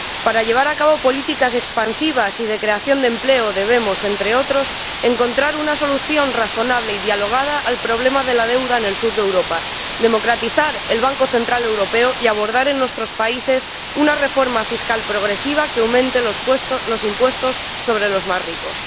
Para llevar a cabo políticas expansivas y de creación de empleo, debemos, entre otras cosas, encontrar una solución razonable y dialogada al problema de la deuda en el sur de Europa, democratizar el Banco Central Europeo y abordar en nuestros países una reforma fiscal progresiva que aumente los impuestos sobre los más ricos.